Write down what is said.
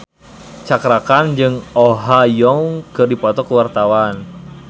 Cakra Khan jeung Oh Ha Young keur dipoto ku wartawan